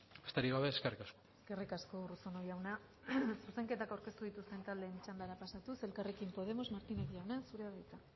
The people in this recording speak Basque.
besterik gabe eskerrik asko eskerrik asko urruzuno jauna zuzenketak aurkeztu dituzten taldeen txandara pasatuz elkarrekin podemos martínez jauna zurea da hitza